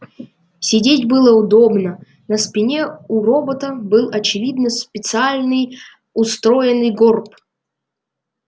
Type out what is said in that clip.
сидеть было удобно на спине у робота был очевидно специальный устроенный горб